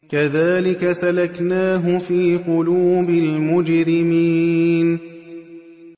كَذَٰلِكَ سَلَكْنَاهُ فِي قُلُوبِ الْمُجْرِمِينَ